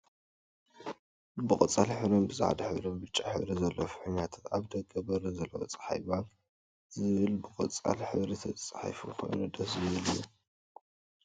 ብቆፃል ሕብርን ብፃዕዳ ሕብርን ብጫን ሕብሪ ዘለዎን ፍሕኛታት ኣበ ደገ በሪ ዘለዎን ፀሓይ ባንክ ዝብል ብቆፃል ሕብሪ ዝተፅሖፎን ኮይኑ ደስ ዝብል እዩ።